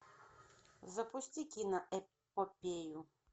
запусти киноэпопею